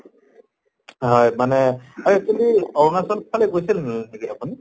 হয় মানে এই তুমি আৰুণাচল ফালে গৈছিল নেকি আপুনি?